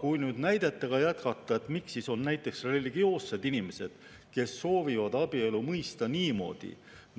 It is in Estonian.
Kui näidetega jätkata, siis miks on näiteks religioossed inimesed, kes soovivad abielu mõista niimoodi,